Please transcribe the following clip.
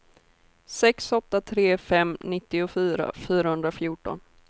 sex åtta tre fem nittiofyra fyrahundrafjorton